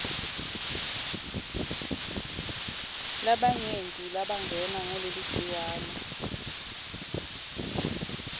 labanyenti labangenwa nguleligciwane